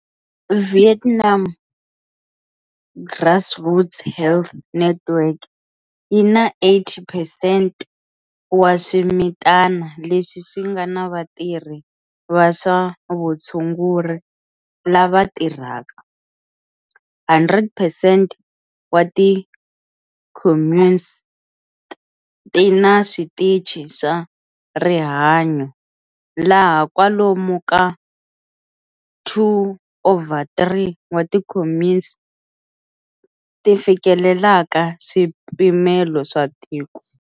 Vietnam's grassroots health network yi na 80 percent wa swimitana leswi swi nga na vatirhi va swa vutshunguri lava tirhaka, 100 percent wa ti communes ti na switichi swa rihanyo, laha kwalomu ka 2 over 3 wa ti communes ti fikelelaka swipimelo swa tiko.